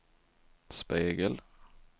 spegel